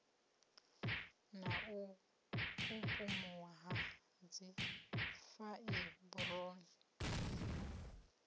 na u kukumuwa ha dzifaiburoni